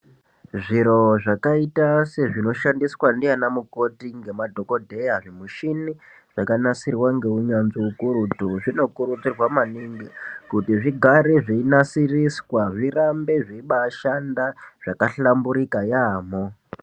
Zviro zvakaita sezvinoshandiswa ndiana mukoti ngemadhokodheya, zvimushini zvakanasirwa ngeunyanzvi ukurutu, zvinokurudzirwa maningi kuti zvigare zveinaisiriswa. Zvirambe zveibaashanda zvakahlaburika yaamho.